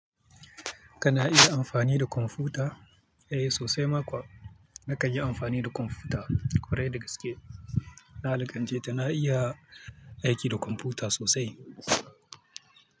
Kana iya amfani da kwamfuta? Eh sosai ma kuwa. Naka yi amfani da kwamfuta kwarai da gaske. Na lakance ta na iya aiki da kwamfuta sosai.